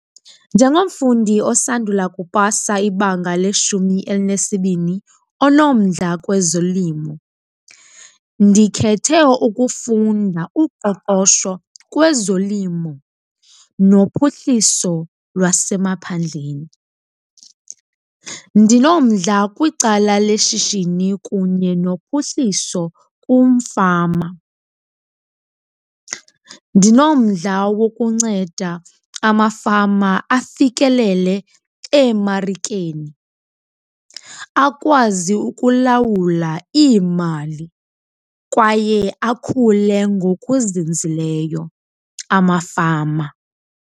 Njengomfundi osandula kupasa ibanga leshumi elinesibini onomdla kwezolimo, ndikhethe ukufunda uqoqosho kwezolimo nophuhliso lwasemaphandleni. Ndinomdla kwicala leshishini kunye nophuhliso kumfama. Ndinomdla wokunceda amafama afikelele eemarikeni, akwazi ukulawula iimali kwaye akhule ngokuzinzileyo amafama.